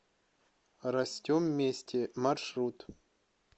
растем вместе маршрут